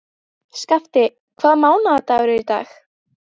Skafti, hvaða mánaðardagur er í dag?